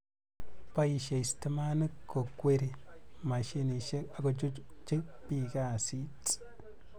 Boishei stimani kokweri mashinishek akochuchukchi bik kasit